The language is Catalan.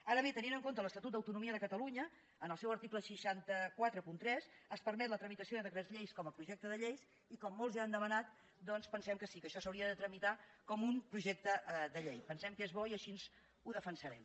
ara bé tenint en compte l’estatut d’autonomia de catalunya en el seu article sis cents i quaranta tres es permet la tramitació de decrets llei com a projecte de llei i com molts ja han demanat doncs pensem que sí que això s’hauria de tramitar com un projecte de llei pensem que és bo i així ho defensarem